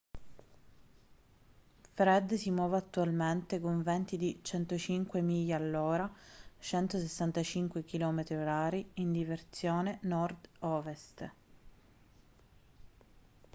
fred si muove attualmente con venti di 105 miglia all’ora 165 km/h in direzione nord-ovest